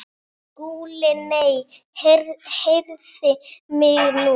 SKÚLI: Nei, heyrið mig nú!